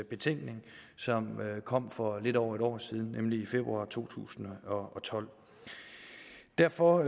betænkning kom for lidt over et år siden nemlig i februar to tusind og tolv derfor